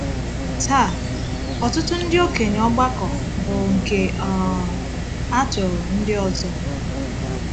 Taa, ọtụtụ ndị okenye ọgbakọ bụ nke um atụrụ ndị ọzọ.